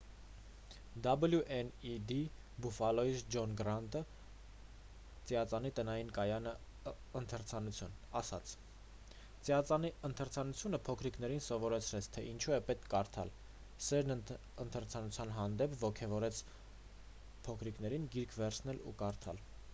wned բուֆֆալոյից ջոն գռանտը ծիածանի տնային կայանի ընթերցանություն ասաց «ծիածանի ընթերցանությունը փոքրիկներին սովորեցրեց թե ինչու է պետք կարդալ,... սերն ընթերցանության հանդեպ — [շոուն] ոգևորեց փոքրիկներին գիրք վերցնել ու կարդալ»։